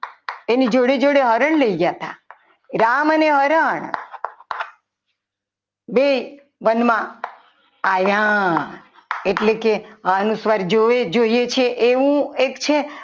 એની જોડે જોડે હરણ લઈ ગયા હતા રામ અને હરણ બે વનમાં આવ્યા એટલે કે અનુસ્વાર જોડે જ જોઈએ છે એવું એક છે.